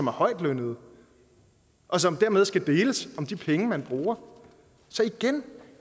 er højtlønnede og som dermed skal deles om de penge man bruger så igen